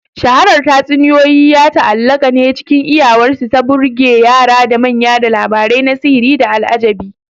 Shaharar tatsuniyoyi ya ta'allaƙa ne cikin iyawarsu ta burge yara da manya da labarai na sihiri da al'ajabi.